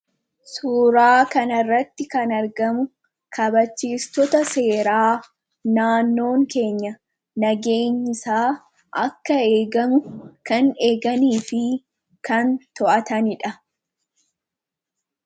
suuraa kana irratti kan argamu kabachiistota seeraa naannoon keenya nageenyisaa akka eegamu kan eeganii fi kan to'ataniidha